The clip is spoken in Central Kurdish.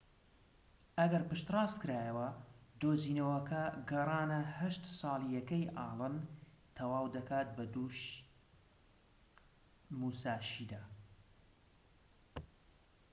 ئەگەر پشت ڕاستکرایەوە دۆزینەوەکە گەڕانە هەشت ساڵیەکەی ئاڵن تەواو دەکات بە دووی موساشی دا